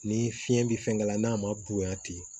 Ni fiɲɛ be fɛn k'a la n'a ma bonyan ten